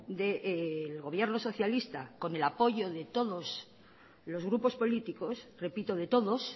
del gobierno socialista con el apoyo de todos los grupos políticos repito de todos